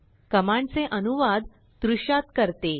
कमांडचे अनुवादद्रुश्यात करते